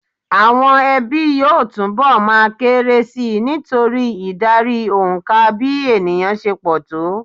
Àwọn ẹbí yóò túnbọ̀ máa kéré si nítorí ìdarí òǹkà bí ènìyàn se pọ̀ tó.